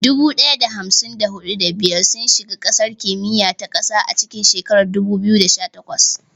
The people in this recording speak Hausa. Dubu ɗaya da hamsin da huɗu, da biyar sun shiga gasar kimiyya ta ƙasa a cikin shekarar 2018.